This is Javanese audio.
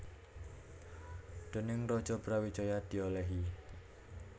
Déning Raja Brawijaya diolehi